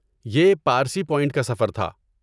یہ پارسی پوائنٹ کا سفر تھا۔